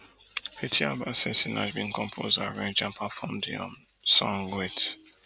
etiaba say sinach bin compose arrange and perform di um song wit